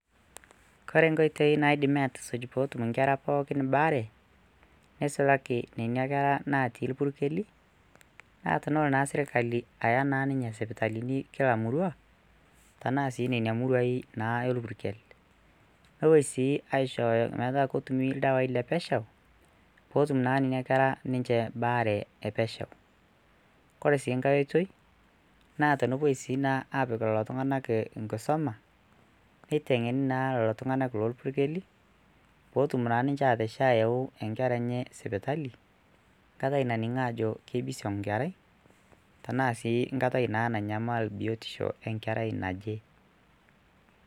Kore nkoitoi naidimi aatusuj peetum inkera pookin baare neisulaki nena keraa natii irpurkeli, naaa tenelo naa sirkali aaya naa ninye sipitalini kuila murrua tenaa sii nenia muruaai naa elpurkel, nepoi sii aishooyo metaa ketumi irdawaii le pesheu peetum naa nenia kerra ninche baare epesheukore sii nkae oitoi naa tenepou sii naa apik lelo tunganak nkisuma neitengeni naa lelo tunganak lolpirkeli peetumoki ninche ayeuu inkerra enye sipitali nkatai naningi aajo keibisiong inkerrai tanaa sii enkatai naa nanyamal biotisho enkerrai najii.